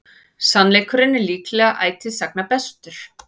Sannleikurinn er líklega ætíð sagna bestur.